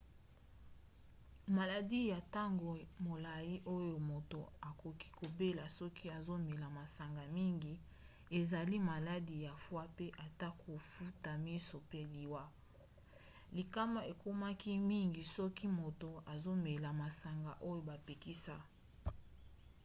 maladi ya ntango molai oyo moto akoki kobela soki azomela masanga mingi ezali maladi ya foie pe ata kofuta miso pe liwa. likama ekomaki mingi soki moto azomela masanga oyo bapekisa